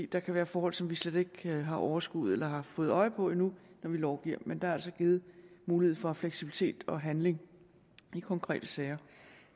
der kan være forhold som vi slet ikke har overskuet eller har fået øje på endnu når vi lovgiver men der er altså givet mulighed for fleksibilitet og handling i konkrete sager